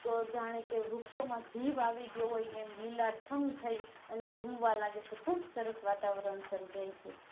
તો જાણે કે વ્રુક્ષો માં જીવ આવી ગયો હોય એમ લીલાછમ થઈ અને ઝૂમાં લાગે છે ખુબ સરસ વાતાવરણ સર્જાય છે